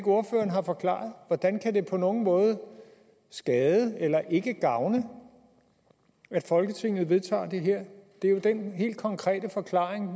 ordføreren har forklaret hvordan kan det på nogen måde skade eller ikke gavne at folketinget vedtager det her det er jo den helt konkrete forklaring